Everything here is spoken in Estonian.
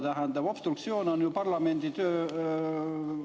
Tähendab, obstruktsioon on parlamendi töö …